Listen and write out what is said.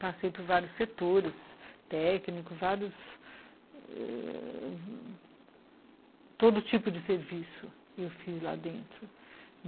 Passei por vários setores, técnicos, vários... Todo tipo de serviço eu fiz lá dentro.